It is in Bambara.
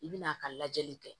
I bi n'a ka lajɛli kɛ